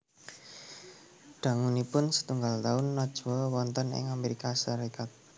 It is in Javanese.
Dangunipun setunggal taun Najwa wonten ing Amérika Sarékat